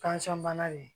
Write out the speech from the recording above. bana nin